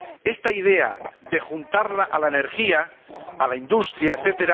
Esta idea de juntarla a la energía, a la industria, etc.